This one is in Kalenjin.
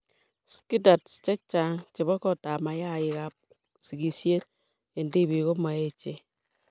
SCTATs chechang' chebo kotab mayaikab sigishet eng' tibik ko maechen.